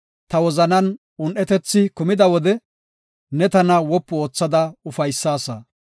Ta wozanan un7etethi kumida wode, neeni tana wopu oothada ufaysaasa.